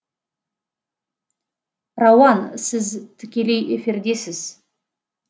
рауан сіз тікелей эфирдесіз